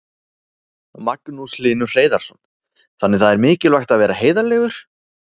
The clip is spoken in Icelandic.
Magnús Hlynur Hreiðarsson: Þannig það er mikilvægt að vera heiðarlegur?